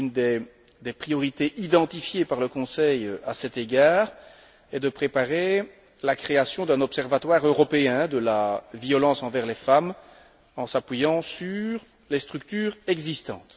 L'une des priorités identifiée par le Conseil à cet égard est de préparer la création d'un observatoire européen de la violence envers les femmes, en s'appuyant sur les structures existantes.